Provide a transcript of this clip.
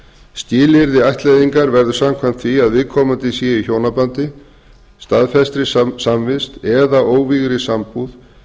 skilyrði ættleiðingar verður samkvæmt því að viðkomandi séu í hjónabandi staðfesti samvist eða óvígð sambúð